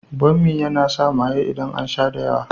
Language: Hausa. Bommi yana sa maye idan an sha da yawa.